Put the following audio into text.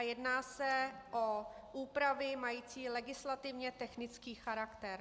A jedná se o úpravy mající legislativně technický charakter.